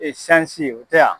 o tɛ ya.